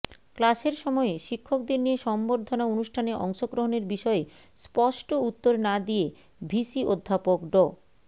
ক্লাসের সময়ে শিক্ষকদের নিয়ে সংবর্ধনা অনুষ্ঠানে অংশগ্রহণের বিষয়ে স্পষ্ট উত্তর না দিয়ে ভিসি অধ্যাপক ড